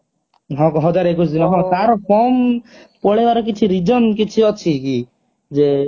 ହଜାରେ ଏକୋଇଶି ଦିନ ତାର form ପଳେଇବାର କିଛି reason କିଛି ଅଛି କି